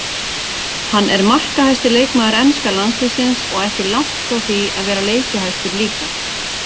Hann er markahæsti leikmaður enska landsliðsins og ekki langt frá því að vera leikjahæstur líka.